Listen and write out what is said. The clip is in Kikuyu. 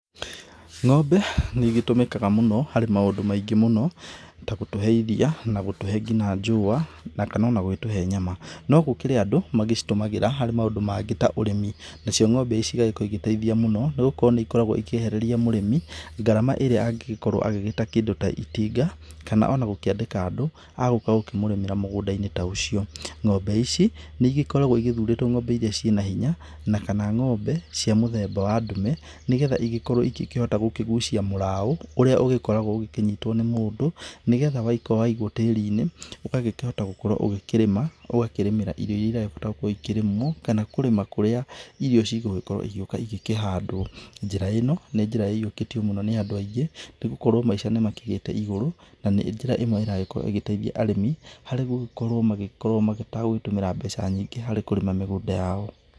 Ng'ombe nĩ ĩgĩtũmĩkaga mũno harĩ maũndũ maingĩ mũno, ta gũtũhe ĩriya na gũtũhe nginya njũwa na kana onagũgĩtũhe nyama. No gũkĩrĩ andũ magĩ citũmagĩrwo harĩ maũndũ mangĩ ta ũrĩmi. Nacio ng'ombe cigagĩkorwo igĩteithia mũno nĩgũkorwo nĩ ikoragwo ikĩehereria mũrĩmi gharama ĩrĩa angĩkorwo agĩgĩta kĩndũ ta itinga kana onagũkĩandĩa andũ a gũka gũkĩmũrĩmĩra mũgũnda-inĩ ta ũcio. Ng'ombe ici nĩ ĩgĩkoragwo igĩthurĩtwo ng'ombe iria ciĩna hinya na kana ng'ombe cia mũthemba wa ndume nĩgetha igĩkorwo igĩkĩhota gũkĩgucia mũraũ ũrĩa ũgũkoragwo ũkĩnyitwo nĩ mũndũ, nĩgetha waigwo tĩrinĩ ũgagĩkĩhota gũgĩkorwo ũkĩrĩmĩra irio iria iragĩkĩrĩmwo kana kũrĩma kũrĩa irio cigũgĩkorwo igĩũka cigũkĩhandwo. Njĩra ino nĩ njĩra ĩhiũkĩtio mũno nĩ andũ, nĩgũkorwo Maisha nĩ mathiĩte igũrũ, nĩ njĩra ĩmwe ĩragĩkorwo ĩgĩteithia arĩmĩ harĩ gũgĩkorwo magĩkorwo magĩka mategũtũmĩra mbeca nyingĩ harĩ kũrĩma mĩgũnda yao.